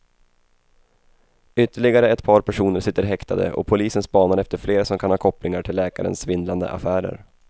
Ytterligare ett par personer sitter häktade och polisen spanar efter fler som kan ha kopplingar till läkarens svindlande affärer.